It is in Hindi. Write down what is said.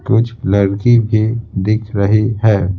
कुछ लड़की भी दिख रही है।